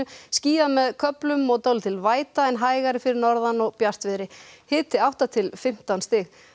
skýjað með köflum og dálítil væta en hægari fyrir norðan og bjartviðri hiti átta til fimmtán stig